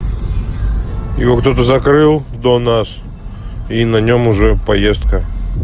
его кто-то закрыл до нас и на нём уже поездка